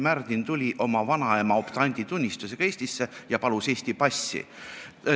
Märdin tuli oma vanaema optanditunnistusega Eestisse ja palus Eesti passi.